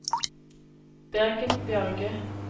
Birgit Bjørge